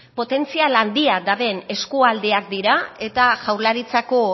potentzial handia daben eskualdeak dira eta jaurlaritzako